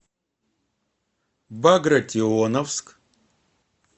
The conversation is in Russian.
багратионовск